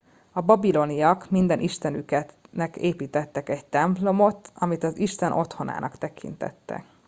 a babiloniak minden istenüknek építettek egy templomot amit az isten otthonának tekintettek